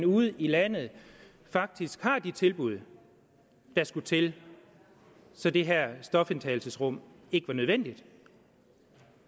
ude i landet faktisk har de tilbud der skulle til så det her stofindtagelsesrum ikke var nødvendigt